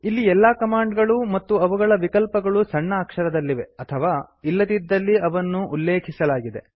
ಇಲ್ಲಿ ಎಲ್ಲಾ ಕಮಾಂಡ್ ಗಳು ಮತ್ತು ಅವುಗಳ ವಿಕಲ್ಪಗಳು ಸಣ್ಣ ಅಕ್ಷರದಲ್ಲಿವೆ ಅಥವಾ ಇಲ್ಲದಿದ್ದಲ್ಲಿ ಅವನ್ನು ಉಲ್ಲೇಖಿಸಲಾಗಿದೆ